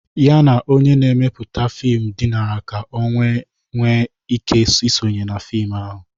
Ya na onye na-emepụta fim dinara ka o wee nwee ike isonye na fim ahụ.